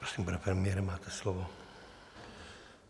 Prosím, pane premiére, máte slovo.